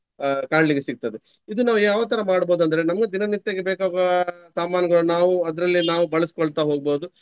ಅಹ್ ಕಾಣ್ಲಿಕ್ಕೆ ಸಿಗ್ತದೆ. ಇದು ನಾವು ಯಾವ ತರ ಮಾಡ್ಬಹುದು ಅಂದ್ರೆ ನಮ್ಗೆ ದಿನನಿತ್ಯಕ್ಕೆ ಬೇಕಾಗುವ ಸಾಮಾನುಗಳು ನಾವು ಅದ್ರಲ್ಲಿ ನಾವು ಬಳಸ್ಕೊಳ್ತಾ ಹೋಗ್ಬಹುದು.